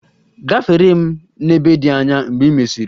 Gafere m n'ebe dị anya mgbe ị mesiri!